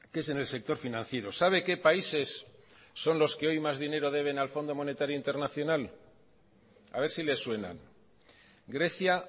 es en el sector financiero sabe qué países son los que hoy más dinero deben al fondo monetario internacional a ver si le suenan grecia